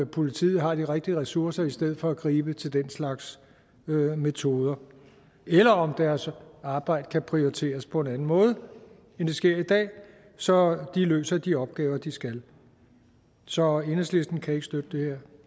politiet har de rigtige ressourcer i stedet for at gribe til den slags metoder eller om deres arbejde kan prioriteres på en anden måde end det sker i dag så de løser de opgaver de skal så enhedslisten kan ikke støtte det her